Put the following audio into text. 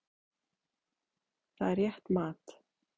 Það er rétt mat.